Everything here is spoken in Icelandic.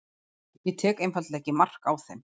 ég tek einfaldlega ekki mark á þeim.